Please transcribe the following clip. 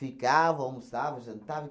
almoçavam, jantavam.